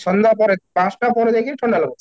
ସନ୍ଧ୍ୟା ପରେ ପାଞ୍ଚଟା ପରେ ଯାଇକି ଥଣ୍ଡା ଲାଗୁଛି